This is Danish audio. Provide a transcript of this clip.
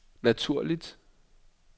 naturligt